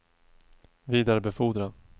vidarebefordra